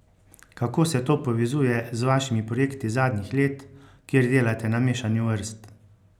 Kako se to povezuje z vašimi projekti zadnjih let, kjer delate na mešanju vrst?